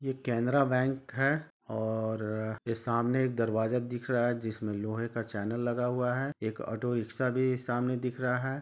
Canara bank है और यहाँ सामने दरवाजा दिख रहा है जिसमे लोहें का चैनल लगा हुआ है एक ओटो रीक्सा भी सामने दिख रहा है ।